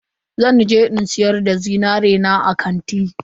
Zan je in siyar da zinari na a kanti.